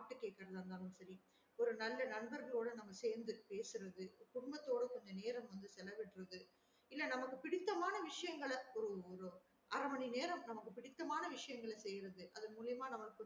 பாட்டு கேக்குறதா இருந்தாலும் சரி ஒரு நல்ல நண்பர்களோட நம்ம சேந்து பேசுறது குடும்பத்தோட கொஞ்ச நேரம் செலவிடறது இல்ல நமக்கு பிடிச்சம்மா விசையங்கள ஒரு அர மணி நேரம் நமக்கு பிடிச்ச மாறியான விஷயங்கள செய்யிறது அதன் மூலியமா